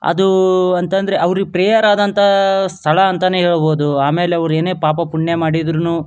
ಅದು ಅಂತಂದ್ರೆ ಅವ್ರಿಗೆ ಪ್ರಿಯವಾದಂತಹ ಸ್ಥಳ ಅಂತಾನೆ ಹೇಳಬಹುದು ಆಮೇಲೆ ಅವ್ರು ಏನೇ ಪಾಪ ಪುಣ್ಯ ಮಾಡಿದ್ರುನು --